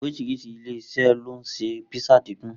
Orísìrísi ilé-iṣẹ́ ló ń ṣe písà dídùn.